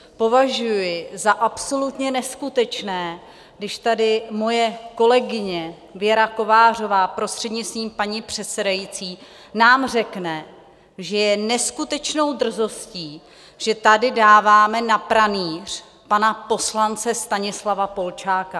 Považuji za absolutně neskutečné, když tady moje kolegyně Věra Kovářová, prostřednictvím paní přesedající, nám řekne, že je neskutečnou drzostí, že tady dáváme na pranýř pana poslance Stanislava Polčáka.